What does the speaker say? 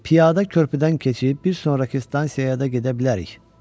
Piyada körpüdən keçib bir sonrakı stansiyaya da gedə bilərik.